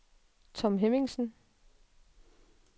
Tom Hemmingsen